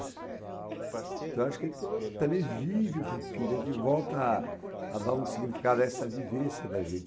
Então eu acho que a gente também vive um pouquinho, a gente volta a dar um significado a essa vivência da gente.